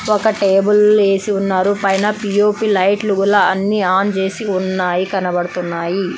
ఒక టేబుల్ వేసి ఉన్నారు. పైన పి_ఓ_పి లైట్లు అన్ని ఆన్ చేసి ఉన్నాయి కనబడుతున్నాయి.